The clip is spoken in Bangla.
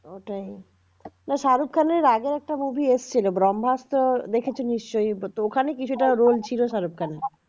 ওটাই না শাহরুখ খানের আগের একটা movie এসেছিল ব্রম্ভাস্ত্র দেখেছো নিশ্চয়ই তো ওখানে কিছুটা roll ছিল শাহরুখ খানের